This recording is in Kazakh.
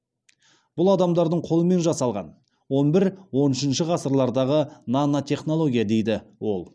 бұл адамдардың қолымен жасалған он бір он үшінші ғасырлардағы нанотехнология дейді ол